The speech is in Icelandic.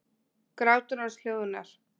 Grátur hans hljóðnar.